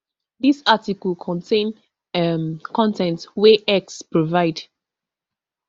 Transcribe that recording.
dis article contain um con ten t wey x provide